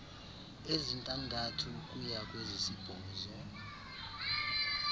ezintandathu ukuya kwezisibhozo